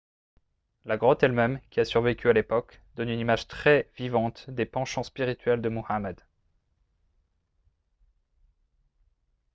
la grotte elle-même qui a survécu à l'époque donne une image très vivante des penchants spirituels de muhammad